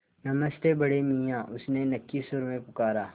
नमस्ते बड़े मियाँ उसने नक्की सुर में पुकारा